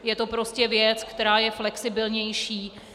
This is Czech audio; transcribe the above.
Je to prostě věc, která je flexibilnější.